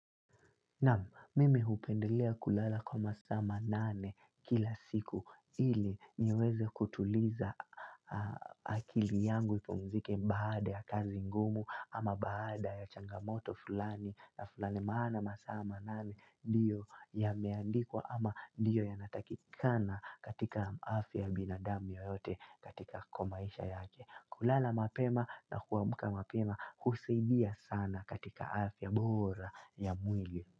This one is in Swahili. Mimi hupendelea kulala kwa masaa manane kila siku ili niweze kutuliza akili yangu ipumzike baada ya kazi ngumu, ama baada ya changamoto fulani na fulani, maana masaa manane ndiyo yameandikwa ama ndiyo yanatakikana katika afya ya binadamu yeyote katika kwa maisha yake. Kulala mapema na kuamka mapema husaidia sana katika afya bora ya mwili.